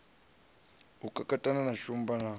u kakatana na shumba na